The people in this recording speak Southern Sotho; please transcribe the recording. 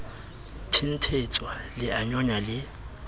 thenthetswa le a nyonya le